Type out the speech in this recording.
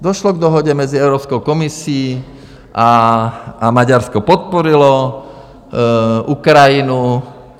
Došlo k dohodě mezi Evropskou komisí a Maďarsko podpořilo Ukrajinu.